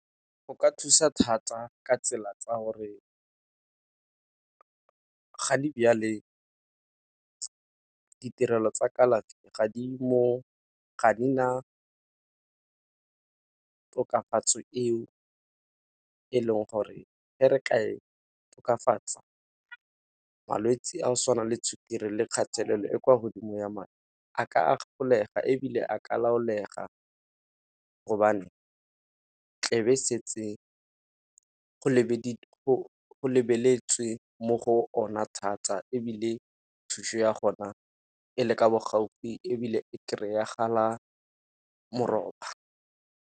Go ka thusa thata ka tsela tsa gore ga di ditirelo tsa kalafi ga di na tokafatso eo, e leng gore e re tla e tokafatsa malwetse a go tshwana le sukiri le kgatelelo e kwa godimo ya madi a ka a ebile a ka laolega gobane tlebe setse go lebeletswe mo go ona thata ebile thušo ya gona e le ka bo gaufi ebile e kry-agala moroba.